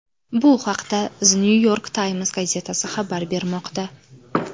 Bu haqda The New York Times gazetasi xabar bermoqda .